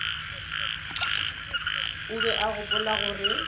o be a gopola gore